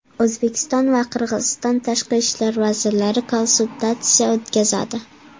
O‘zbekiston va Qirg‘iziston tashqi ishlar vazirlari konsultatsiya o‘tkazadi.